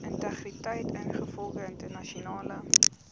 integriteit ingevolge internasionale